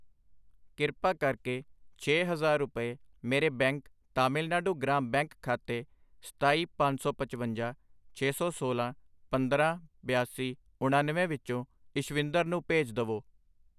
ਕ੍ਰਿਪਾ ਕਰਕੇ ਛੇ ਹਜ਼ਾਰ ਰੁਪਏ ਮੇਰੇ ਬੈਂਕ ਤਾਮਿਲਨਾਡੂ ਗ੍ਰਾਮ ਬੈਂਕ ਖਾਤੇ ਸਤਾਈ, ਪੰਜ ਸੌ ਪਚਵੰਜਾ, ਛੇ ਸੌ ਸੋਲਾਂ, ਪੰਦਰਾਂ, ਬਿਆਸੀ, ਉਣਨਵੇਂ ਵਿਚੋਂ ਇਸ਼ਵਿੰਦਰ ਨੂੰ ਭੇਜ ਦਵੋ I